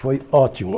Foi ótimo.